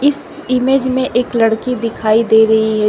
इस इमेज में एक लड़की दिखाई दे रही है।